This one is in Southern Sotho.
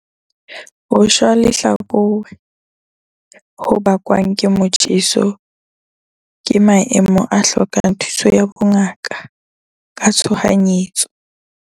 Ho shwa lehlakore ho bakwang ke motjheso ke maemo a hlokang thuso ya bongaka ka tshohanyetso.